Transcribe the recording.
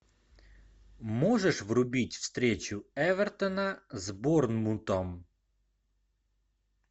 можешь врубить встречу эвертона с борнмутом